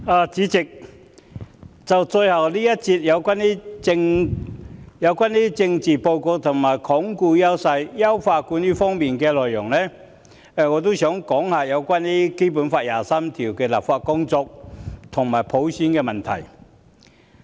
代理主席，最後一節辯論有關施政報告在"鞏固優勢，優化管治"方面的內容，我也想談談就《基本法》第二十三條立法的工作和普選問題。